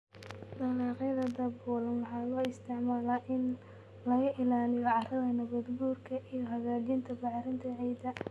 Dalagyada daboolan waxaa loo isticmaalaa in laga ilaaliyo carrada nabaadguurka iyo hagaajinta bacrinta ciidda.